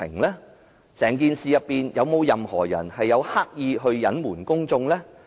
在整件事中，有沒有任何人刻意隱瞞公眾？